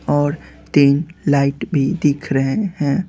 और तीन लाइट भी दिख रहे हैं।